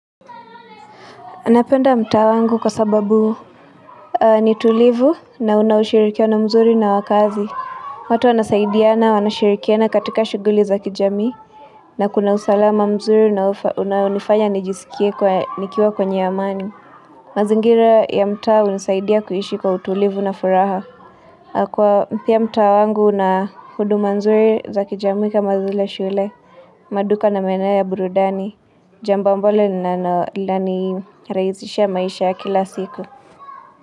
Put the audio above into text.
Napenda mtaa wangu kwa sababu ni tulivu na una ushirikiano mzuri na wakazi. Watu wanasaidiana, wanashirikiana katika shuguli za kijamii na kuna usalama mzuri unaonifanya nijisikie nikiwa kwenye amani. Mazingira ya mtaa hunisaidia kuishi kwa utulivu na furaha. Kwa pia mtaa wangu una huduma nzuri za kijamii kama vile shule, maduka na maeneo ya burudani. Jambo ambalo linanirahishia maisha ya kila siku.